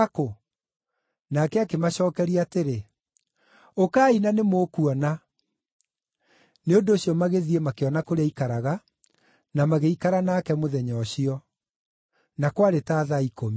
Nake akĩmacookeria atĩrĩ, “Ũkai na nĩmũkuona.” Nĩ ũndũ ũcio magĩthiĩ makĩona kũrĩa aikaraga, na magĩikara nake mũthenya ũcio. Na kwarĩ ta thaa ikũmi.